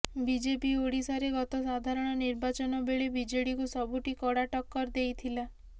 BJP ଓଡ଼ିଶାରେ ଗତ ସାଧାରଣ ନିର୍ବାଚନ ବେଳେ ବିଜେଡିକୁ ସବୁଠି କଡ଼ା ଟକ୍କର ଦେଇଥିଲା